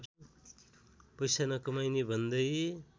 पैसा नकमाइने भन्दै